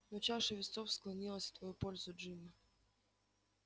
но чаша весов склонилась в твою пользу джинни